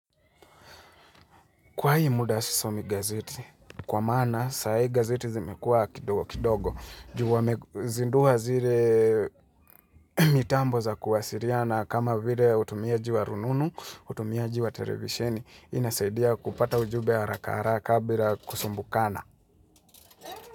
Kwa hii muda sisomi gazeti, kwa maana saa hii gazeti zimekua kidogo, ju wamezindua zile mitambo za kuwasiliana kama vile utumiaji wa rununu, utumiaji wa televisheni, inasaidia kupata ujube haraka haraka bila kusumbukana.